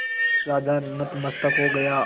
राजा नतमस्तक हो गया